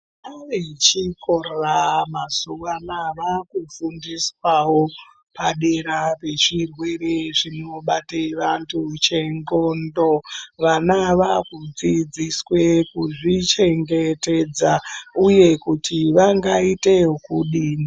Vana vechikora mazuwa anaa vaakufundiswawo padera ngechirwere chinobate vantu chenxondo vana vakudzidziswe kuzvichengetedza uye kuti vangaita ekudini.